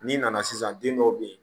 N'i nana sisan den dɔw bɛ ye